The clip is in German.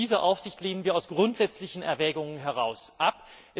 Diese Aufsicht lehnen wir aus grundsätzlichen Erwägungen heraus ab.